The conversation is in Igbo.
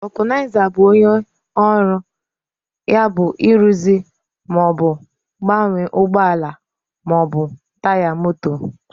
vulcanizer bụ onye ọrụ ya bụ ịrụzi ma ọ bụ gbanwee ụgbọ ala ma ọ bụ taya moto.